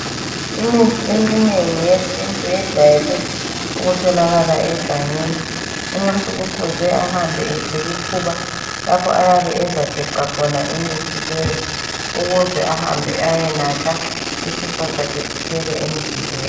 Imithi eminengi yesintu yejwayele ukutholakala egangeni. Umuntu kufuze ahambe ethwel' ikhuba, lapho ayabe ezageca khona imithti leyi ukuze ehambe ayenatha, isifo sakhe siphele emzimbeni.